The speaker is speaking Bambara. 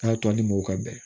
A y'a tɔ ni mɔgɔ ka bɛn